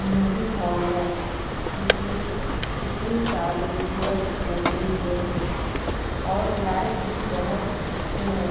Movie hall है जिसमें कितने सारे चेयर्स लगे हुए है और लाइट भी बहोत अच्छे है।